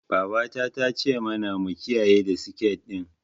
Babata ta ce mana mu kiyayi seket ɗin.